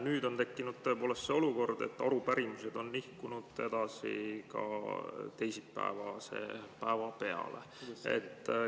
Nüüd on tekkinud olukord, kus arupärimised on nihkunud ka teisipäevase päeva peale.